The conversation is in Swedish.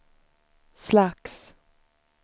slags